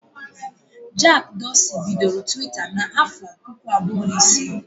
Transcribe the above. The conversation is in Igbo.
Jack Dorsey bidoro Twitter n'afọ puku abụọ na isii